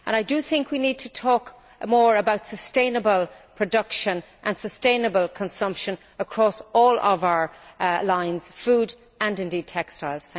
I do think we need to talk more about sustainable production and sustainable consumption across all of our lines food and, indeed, textiles.